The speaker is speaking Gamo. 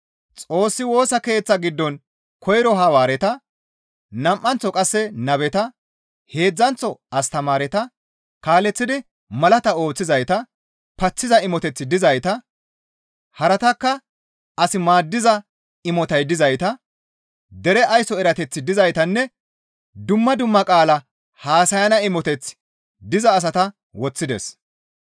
Xoossi Woosa Keeththa giddon koyro Hawaareta, nam7anththo qasse nabeta, heedzdzanththo astamaareta, kaaleththidi malaata ooththizayta, paththiza imoteththi dizayta, haratakka as maaddiza imotay dizayta, dere ayso erateththi dizaytanne dumma dumma qaala haasayana imoteththi diza asata woththides.